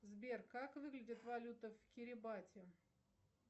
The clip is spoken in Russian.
сбер как выглядит валюта в кирибати